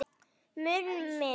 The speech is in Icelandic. Mun minna.